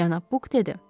Cənab Buk dedi.